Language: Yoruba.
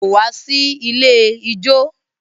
Kò wá sí ilé ijó.